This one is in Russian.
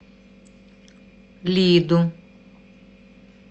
лиду